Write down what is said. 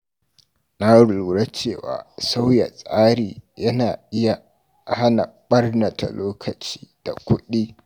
Na lura cewa sauya tsari yana iya hana ɓarnata lokaci da kuɗi.